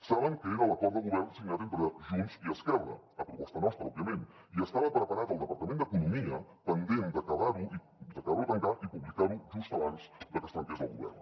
saben que era l’acord de govern signat entre junts i esquerra a proposta nostra òbviament i estava preparat el departament d’economia pendent d’acabar lo de tancar i publicar lo just abans de que es trenqués el govern